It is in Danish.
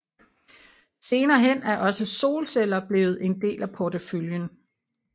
Senere hen er også solceller blevet en del af porteføljen